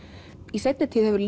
í seinni tíð hefur